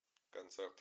концерт